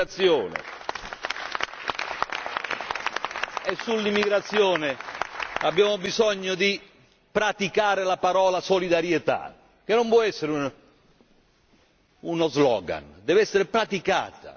E sull'immigrazione abbiamo bisogno di praticare la parola solidarietà, che non può essere uno slogan, dev'essere praticata.